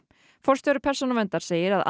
forstjóri Persónuverndar segir að